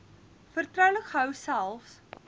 vertroulik gehou selfs